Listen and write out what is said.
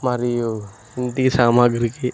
మరియు ఇంటి సామాగ్రికి.